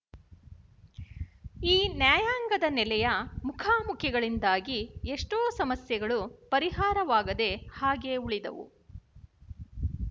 ಈ ನ್ಯಾಯಾಂಗದ ನೆಲೆಯ ಮುಖಾಮುಖಿಗಳಿಂದಾಗಿ ಎಷ್ಟೋ ಸಮಸ್ಯೆಗಳು ಪರಿಹಾರವಾಗದೆ ಹಾಗೇ ಉಳಿದವು